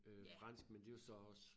Øh fransk men det jo så også